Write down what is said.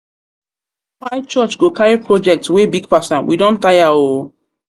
church go carry project wey big pass am? we don tire o.